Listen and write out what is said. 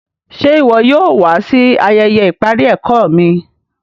Ṣè iwọ yóò wà sí ayéyé iparí ẹ̀kọ mi?